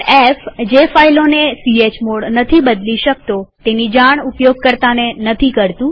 f160 જે ફાઈલોને chmod નથી બદલી શકતો તેની જાણ ઉપયોગકર્તાને નથી કરતુ